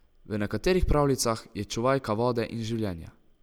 V nekaterih pravljicah je čuvajka vode in življenja.